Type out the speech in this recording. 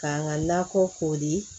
K'an ka nakɔ ko